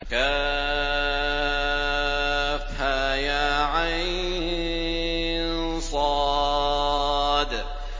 كهيعص